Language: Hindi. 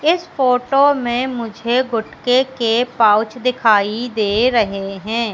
इस फोटो में मुझे गुटके के पाउच दिखाई दे रहे हैं।